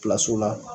la